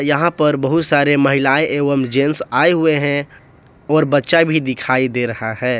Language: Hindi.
यहां पर बहुत सारे महिलाएं एवं जेंट्स आए हुए हैं और बच्चा भी दिखाई दे रहा है।